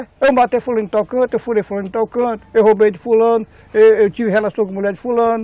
Eu matei fulano em tal canto, eu furei fulano em tal canto, eu roubei de fulano, eu tive relação com mulher de fulano.